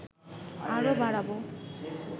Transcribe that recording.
আরও বাড়াবো